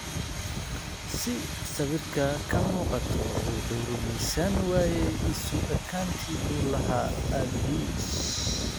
Sida sawirka ka muuqata, wuu rumaysan waayay isu ekaantii uu la lahaa aabihiis.